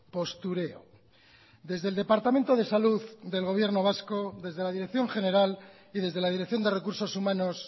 postureo desde el departamento de salud del gobierno vasco desde la dirección general y desde la dirección de recursos humanos